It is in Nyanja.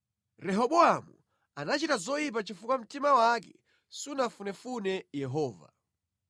Rehobowamu anachita zoyipa chifuwa mtima wake sunafunefune Yehova.